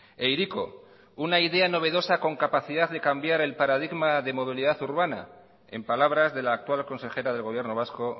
e hiriko una idea novedosa con capacidad de cambiar el paradigma de modalidad urbana en palabras de la actual consejera del gobierno vasco